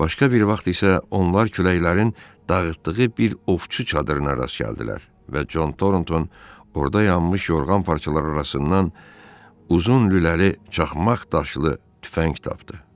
Başqa bir vaxt isə onlar küləklərin dağıtdığı bir ovçu çadırına rast gəldilər və Cont Tornton orda yanmış yorğan parçaları arasından uzun lüləli çaxmaq daşlı tüfəng tapdı.